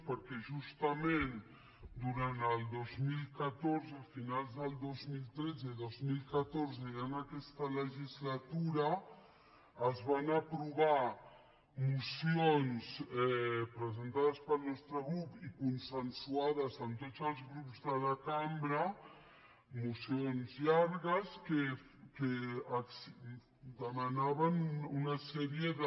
perquè justament durant el dos mil catorze finals del dos mil tretze i dos mil catorze ja en aquesta legislatura es van aprovar mocions presentades pel nostre grup i consensuades amb tots els grups de la cambra mocions llargues que demanaven una sèrie de